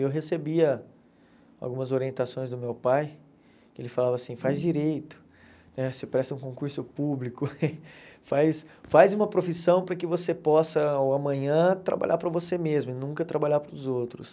Eu recebia algumas orientações do meu pai, que ele falava assim, faz direito, né você presta um concurso público, faz faz uma profissão para que você possa amanhã trabalhar para você mesmo e nunca trabalhar para os outros.